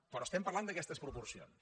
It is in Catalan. però estem parlant d’aquestes proporcions